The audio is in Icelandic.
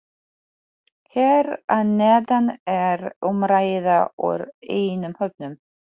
Hér að neðan er umræða úr einum hópnum: